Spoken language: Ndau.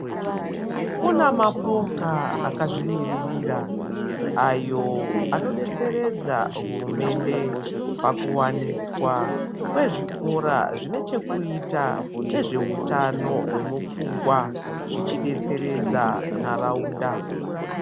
Kune mapoka akazvimiririra ayo anodetseredza hurumende pakuwaniswa pezvikora zvine chekuita nezvehutano hwemupfungwa zvichidetseredza nharaunda.